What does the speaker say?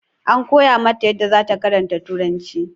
An koya mata yadda zata karanta turanci